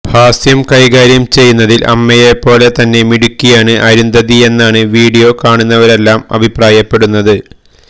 ഹാസ്യം കൈകാര്യം ചെയ്യുന്നതില് അമ്മയേപ്പോലെ തന്നെ മിടുക്കിയാണ് അരുന്ധതിയെന്നാണ് വീഡിയോ കാണുന്നവരെല്ലാം അഭിപ്രായപ്പെടുന്നത്